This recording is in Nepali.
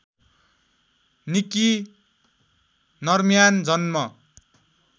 निक्की नर्म्यान जन्म